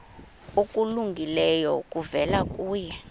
okulungileyo kuvela kuye